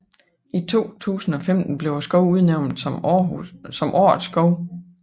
I 2015 blev skoven udnævnt som Årets skov